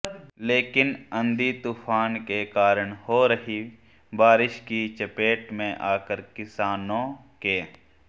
लेकिन आंधी तूफान के कारण हो रही बारिश की चपेट में आकर किसानों के